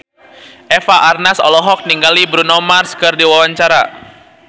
Eva Arnaz olohok ningali Bruno Mars keur diwawancara